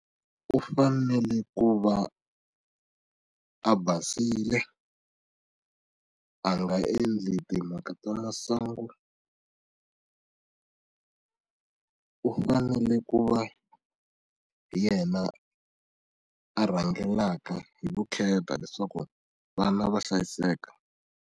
U fanele ku va a basile a nga endli timhaka ta masangu u fanele ku va hi yena a rhangelaka hi vukheta leswaku vana va hlayiseka.